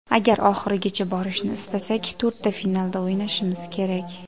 Agar oxirigacha borishni istasak, to‘rtta finalda o‘ynashimiz kerak.